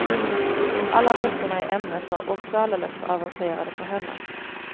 Alla böckerna i ämnet var också alldeles för avancerade för henne.